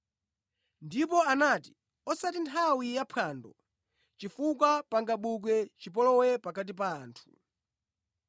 Ndipo anati, “Osati nthawi yaphwando chifukwa pangabuke chipolowe pakati pa anthu.”